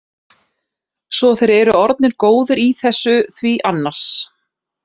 Svo þeir eru orðnir góðir í þessu því annars.